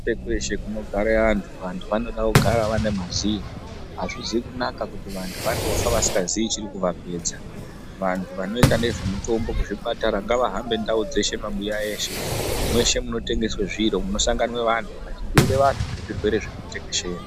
Kweshe kweshe kuno gare antu vantu vanoda kugara vane maziye azvizi kunaka kuti vantu vandofa vasika zii chiri kuva pedza vantu vano ita nezve mutombo ku zvipatara ngava hambe ndau dzeshe mabuya eshe mweshe muno tengeswe zviro muno sangana vantu vachi bhuyire vantu nge zvirwere zviri ku tekeshera.